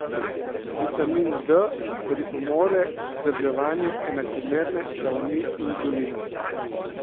Vitamin D pripomore k vzdrževanju enakomerne ravni insulina.